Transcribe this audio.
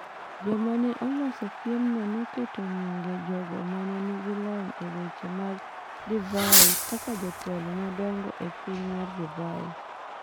Joma ne oloso piemno noketo nyinge jogo ma ne nigi lony e weche mag divai kaka jotelo madongo e piny mar divai.